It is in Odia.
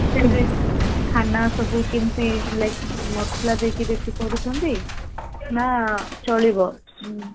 hostel ରେ ଖାନା ସବୁ କେମିତି Like ମସଲା ଦେଇ କି ବେଶୀ କରୁଛନ୍ତି ନା ଚଳିବ?